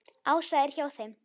Ása er hjá þeim.